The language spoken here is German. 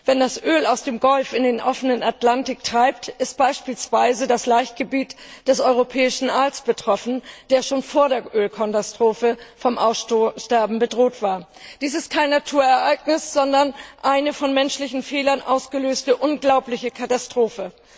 Wenn das Öl aus dem Golf in den offenen Atlantik treibt, ist beispielsweise das Laichgebiet des europäischen Aals betroffen, der schon vor der Ölkatastrophe vom Aussterben bedroht war. Dies ist kein Naturereignis, sondern eine durch menschliche Fehler ausgelöste, unglaubliche Katastrophe.